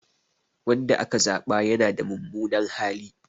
Wanda aka zaba yana da mummunan hali.